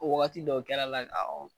wagati dɔw kɛra la